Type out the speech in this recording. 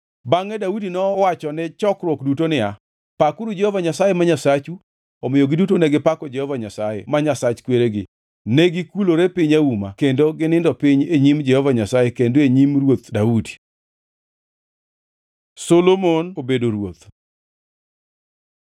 Bangʼe Daudi nowachone chokruok duto niya, “Pakuru Jehova Nyasaye, ma Nyasachu.” Omiyo giduto negipako Jehova Nyasaye, ma Nyasach kweregi, negikulore piny auma kendo ginindo piny e nyim Jehova Nyasaye kendo e nyim ruoth Daudi. Solomon obedo ruoth